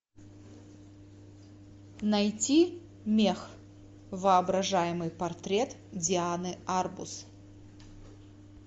найти мех воображаемый портрет дианы арбус